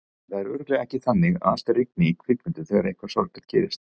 Það er alveg örugglega ekki þannig að alltaf rigni í kvikmyndum þegar eitthvað sorglegt gerist.